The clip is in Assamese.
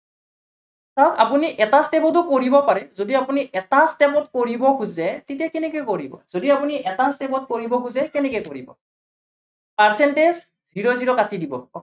চাওক আপুনি এটা step টো কৰিব পাৰে। যদি আপুনি এটা step ত কৰিব খোজে তেতিয়া কেনেকে কৰিব, যদি আপুনি এটা step কৰিব খোজে কেনেকে কৰিব percentage zero zero কাটি দিব।